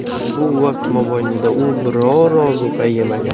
Bu vaqt mobaynida u biror ozuqa yemagan.